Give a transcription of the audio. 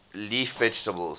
leaf vegetables